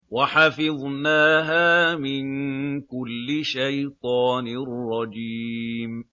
وَحَفِظْنَاهَا مِن كُلِّ شَيْطَانٍ رَّجِيمٍ